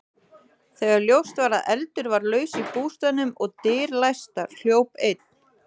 Þegar ljóst var að eldur var laus í bústaðnum og dyr læstar, hljóp einn